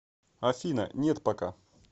афина нет пока